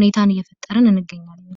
ቁጥር እንስሳቶችን እየጠበቅን እንገኛለን።